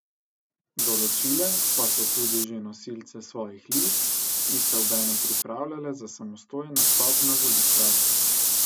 Določile pa so tudi že nosilce svojih list in se obenem pripravljale za samostojen nastop na volitvah.